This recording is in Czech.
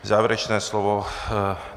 Závěrečné slovo?